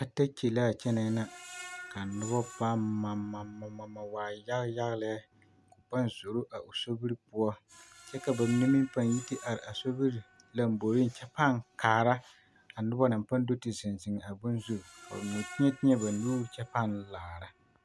Katakye laa kyɛnɛɛ na ka nobɔ paŋ mamamama waa yage yage lɛ a paŋ zoro a o sobiri poɔ kyɛ ka ba mine meŋ paŋ yi te are a sobiri lɔmboreŋ kyɛ paŋ kaara a nobɔ naŋ paŋ do te zeŋ zeŋ a bon zu ka ba mine teɛ teɛ ba nuuri kyɛ paŋ laara.